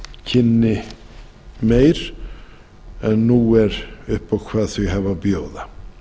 kynni meir en nú er upp á hvað þau hafa að bjóða